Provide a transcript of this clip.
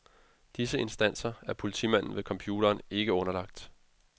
Disse instanser er politimanden ved computeren ikke underlagt.